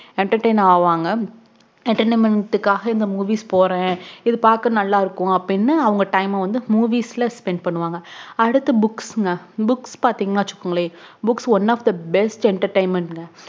entertain ஆவாங்க entertainment காக இந்த movies போறேன் இது பாக்க நல்லா இருக்கும் அப்புடின்னு அவங்க time அஹ் spend பண்ணுவாங்க அதுத்து books ங்க books பாதீங்கான வச்சுக்கோங்க books one of the best entertainment